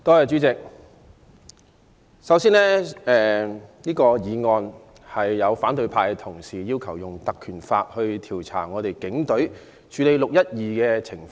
主席，反對派議員根據《立法會條例》動議議案，要求調查警隊處理"六一二"事件的情況。